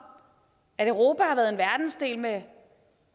at europa har været en verdensdel med